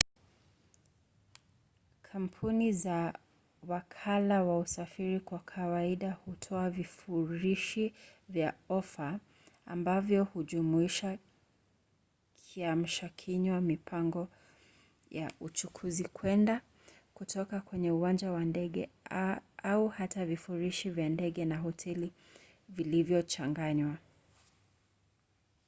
kampuni za wakala wa usafiri kwa kawaida hutoa vifurushi vya ofa ambavyo hujumuisha kiamshakinywa mipango ya uchukuzi kwenda/kutoka kwenye uwanja wa ndege au hata vifurushi vya ndege na hoteli vilivyochanganywa